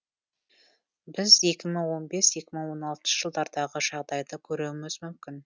біз екі мың он бес екі мың он алтыншы жылдардағы жағдайды көруіміз мүмкін